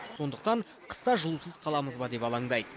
сондықтан қыста жылусыз қаламыз ба деп алаңдайды